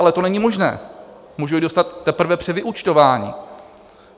Ale to není možné, můžou ji dostat teprve při vyúčtování.